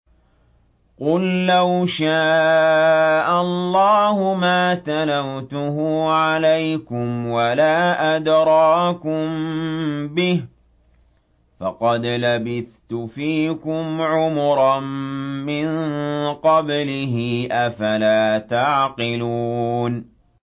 قُل لَّوْ شَاءَ اللَّهُ مَا تَلَوْتُهُ عَلَيْكُمْ وَلَا أَدْرَاكُم بِهِ ۖ فَقَدْ لَبِثْتُ فِيكُمْ عُمُرًا مِّن قَبْلِهِ ۚ أَفَلَا تَعْقِلُونَ